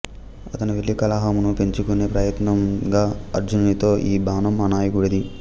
అతను వెళ్లి కలహామును పెంచుకునే ప్రయత్నంగా అర్జునునితో ఈ బాణం మా నాయకుడిది